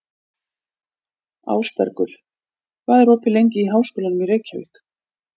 Ásbergur, hvað er opið lengi í Háskólanum í Reykjavík?